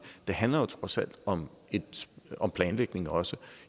det handler trods alt om om planlægning også